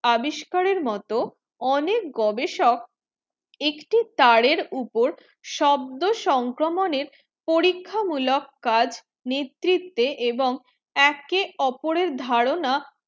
আবিস্কারের মতো অনেক গবেষক একটি তারের উপর শব্দ সংক্রমণে পরীক্ষা মূলক কাজ নেতৃতেব এবং একে ওপরে ধারণা